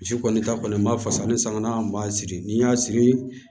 Misi kɔni ta kɔni n b'a fasa ni sange n b'a siri ni n y'a siri